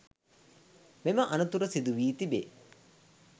මෙම අනතුර සිදුවී තිබේ